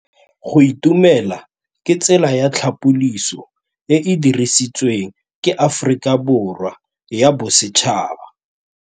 Go itumela ke tsela ya tlhapolisô e e dirisitsweng ke Aforika Borwa ya Bosetšhaba.